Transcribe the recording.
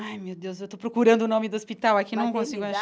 Ai, meu Deus, eu tô procurando o nome do hospital aqui, não consigo achar.